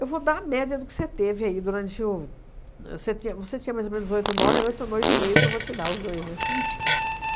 Eu vou dar a média do que você teve aí durante o... Ahn você ti você tinha mais ou menos oito, nove... Oito, oito e meio que eu vou te dar, os dois, né?